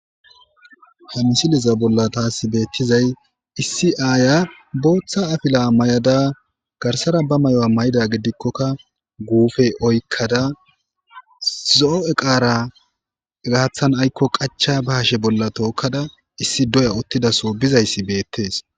Hamisileza bolla taasi beettizay issi aaya booththa afila may'ada garsara ba may'o'a may7ida gidikkokka guufe oykkada zo7o7e qaara gaathan aykko qacha ba hashe bolla tookkada issi doya ottidaso bizayssi beettees.